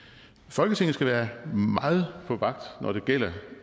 folketinget skal være meget på vagt når det gælder